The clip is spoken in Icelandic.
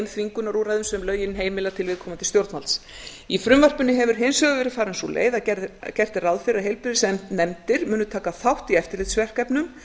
þvingunarúrræðum sem lögin heimila til viðkomandi stjórnvalds í frumvarpinu hefur hins vegar verið farin sú leið að gert er ráð fyrir að heilbrigðisnefndir munu taka þátt í eftirlitsverkefnum